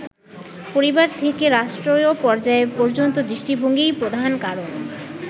পরিবার থেকে রাষ্ট্রীয় পর্যায় পর্যন্ত দৃষ্টিভঙ্গিই প্রধান কারণ।